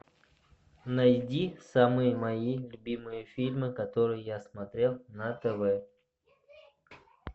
найди самые мои любимые фильмы которые я смотрел на тв